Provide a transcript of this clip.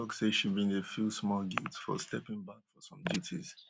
mrs obama tok say she bin dey feel small guilt for stepping back from some duties